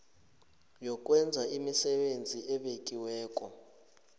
yokwenza imisebenzi ebekiweko